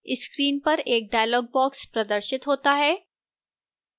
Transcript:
screen पर एक dialog box प्रदर्शिक होता है